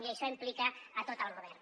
i això implica a tot el govern